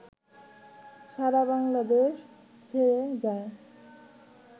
সারা বাংলাদেশ ছেয়ে যায়